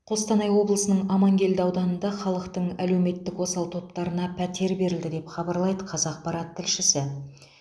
қостанай облысының амангелді ауданында халықтың әлеуметтік осал топтарына пәтер берілді деп хабарлайды қазақпарат тілшісі